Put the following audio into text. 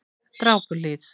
Drápuhlíð